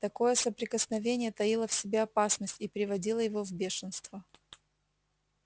такое соприкосновение таило в себе опасность и приводило его в бешенство